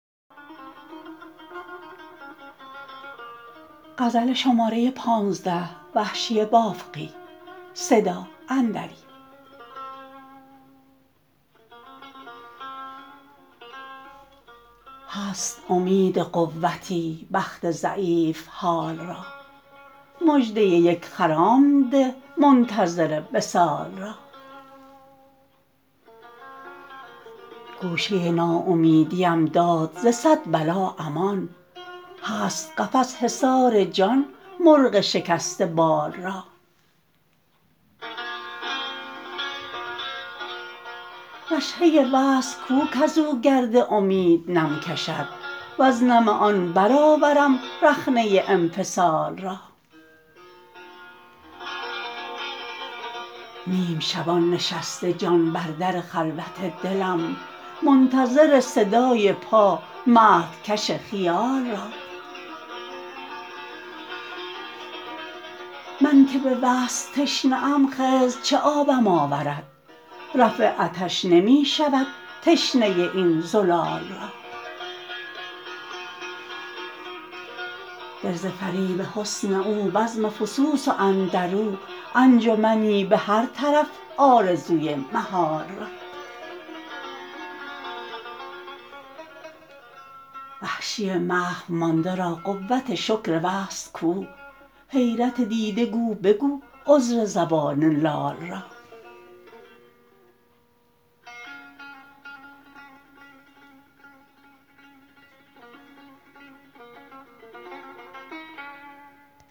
هست امید قوتی بخت ضعیف حال را مژده یک خرام ده منتظر وصال را گوشه ناامیدی ام داد ز صد بلا امان هست قفس حصار جان مرغ شکسته بال را رشحه وصل کو کز او گرد امید نم کشد وز نم آن برآورم رخنه انفصال را نیم شبان نشسته جان بر در خلوت دلم منتظر صدای پا مهدکش خیال را من که به وصل تشنه ام خضر چه آبم آورد رفع عطش نمی شود تشنه این زلال را دل ز فریب حسن او بزم فسوس و اندر او انجمنی به هر طرف آرزوی محال را وحشی محو مانده را قوت شکر وصل کو حیرت دیده گو بگو عذر زبان لال را